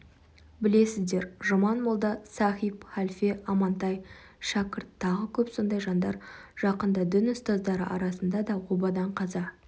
білесіздер жұман молда сахип халфе амантай шәкірт тағы көп сондай жандар жақында дін ұстаздары арасында да обадан қаза